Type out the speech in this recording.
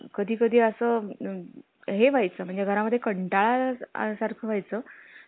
celebrity आल्यावर त्यांचं नियोजन करावं लागतं त्यांचं